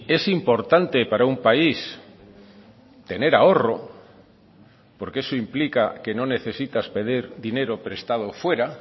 es importante para un país tener ahorro porque eso implica que no necesitas pedir dinero prestado fuera